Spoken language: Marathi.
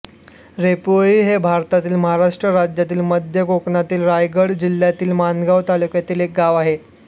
रेपोळी हे भारतातील महाराष्ट्र राज्यातील मध्य कोकणातील रायगड जिल्ह्यातील माणगाव तालुक्यातील एक गाव आहे